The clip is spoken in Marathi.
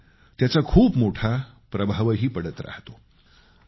आणि त्याचा खूप मोठा प्रभावही पडत राहतो